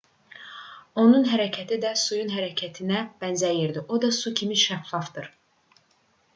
onun hərəkəti də suyun hərəkətinə bənzərdir o da su kimi şəffafdır